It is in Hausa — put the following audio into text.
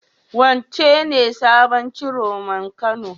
Wancen ne sabon Ciroman Kano?